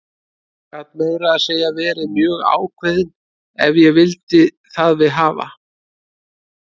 Gat meira að segja verið mjög ákveðinn ef ég vildi það við hafa.